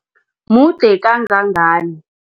Mude kangangani?